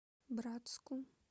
братску